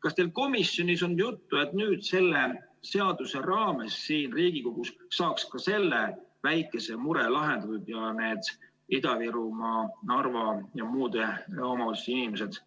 Kas teil komisjonis oli juttu, et selle seaduse raames siin Riigikogu saalis saaks ka selle väikese mure lahendatud, nii et need Ida-Virumaa, Narva ja muude omavalitsuste inimesed